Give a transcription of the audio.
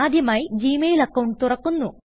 ആദ്യമായിജി mail account തുറക്കുന്നു